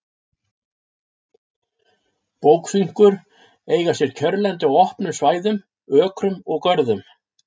Bókfinkur eiga sér kjörlendi á opnum svæðum, ökrum og görðum.